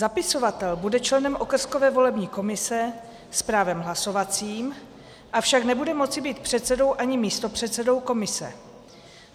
Zapisovatel bude členem okrskové volební komise s právem hlasovacím, avšak nebude moci být předsedou ani místopředsedou komise.